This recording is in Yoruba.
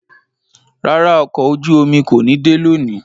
Rárá, ọkọ ojú-omi ko ni de loni